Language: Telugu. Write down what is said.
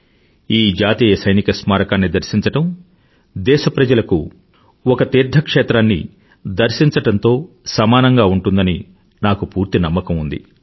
ఈ జాతీయ సైనిక స్మారకాన్ని దర్శించడం దేశప్రజలకు ఒక తీర్థక్షేత్రాన్ని దర్శించడంతో సమానంగా ఉంటుందని నాకు పూర్తి నమ్మకం ఉంది